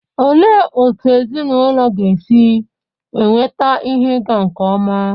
Olee otú ezinụlọ ga-esi enweta ihe ịga nke ọma?